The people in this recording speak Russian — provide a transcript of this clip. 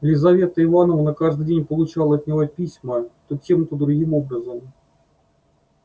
лизавета ивановна каждый день получала от него письма то тем то другим образом